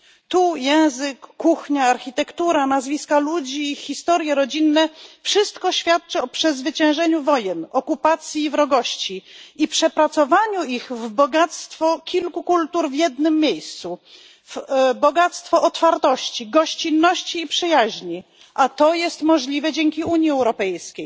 Tu język, kuchnia, architektura, nazwiska ludzi, historie rodzinne wszystko świadczy o przezwyciężeniu wojen, okupacji, wrogości i przepracowaniu ich w bogactwo kilku kultur w jednym miejscu, bogactwo otwartości, gościnności i przyjaźni, a to jest możliwe dzięki Unii Europejskiej.